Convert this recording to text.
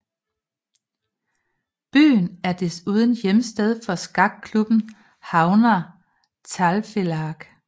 Byen er desuden hjemsted for skakklubben Havnar Talvfelag